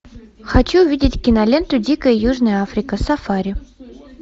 хочу увидеть киноленту дикая южная африка сафари